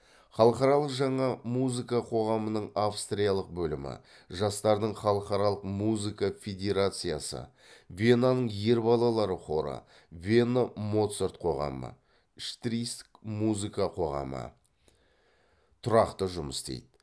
халықаралық жаңа музыка қоғамының австриялық бөлімі жастардың халықаралық музыка федерациясы венаның ер балалар хоры вена моцарт қоғамы штирийск музыка қоғамы тұрақты жұмыс істейді